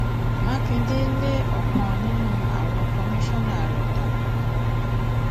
mákindé lé ọkan nínú àwọn kọmíṣánná rẹ dànù